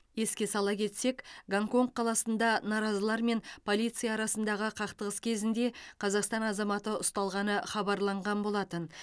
еске сала кетсек гонконг қаласында наразылар мен полиция арасындағы қақтығыс кезінде қазақстан азаматы ұсталғаны хабарланған болатын